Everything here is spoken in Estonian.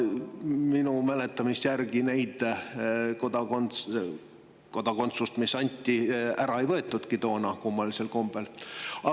Minu mäletamist järgi neid kodakondsusi, mis anti, ei võetudki toona kummalisel kombel ära.